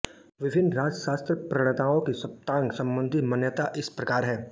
विभिन्न राजशास्त्र प्रणेताओं की सप्ताङ्ग सम्बन्धी मान्यता इस प्रकार है